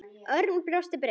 Örn brosti breitt.